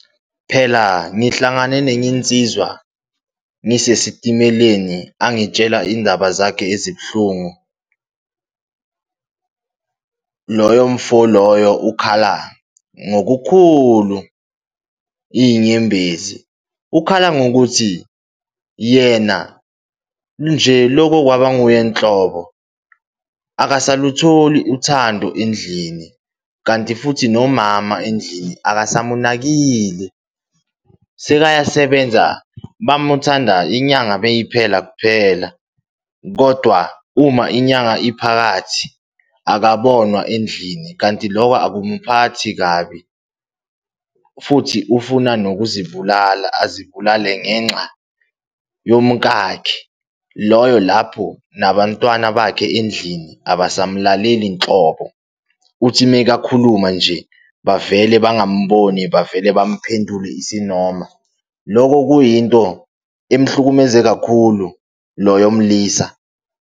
Phela, ngihlangane nenye insizwa ngisesitimeleni, angitshela iy'ndaba zakhe ezibuhlungu. Loyo mfo loyo ukhala ngokukhulu, iy'nyembezi. Ukhala ngokuthi yena nje loko kwaba nguye nhlobo, akasalutholi uthando endlini, kanti futhi nomama endlini akasamunakile. Sekayasebenza bamuthanda inyanga beyiphela kuphela, kodwa uma inyanga iphakathi akabonwa endlini, kanti loko akumphathi kabi, futhi ufuna nokuzibulala, azibulale ngenxa yomukakhe, loyo lapho nabantwana bakhe endlini abasamlaleli nhlobo, uthi mekakhuluma nje, bavele bangamboni bavele bamphendule isinoma. Loko kuyinto emhlukumeze kakhulu, loyo mlisa.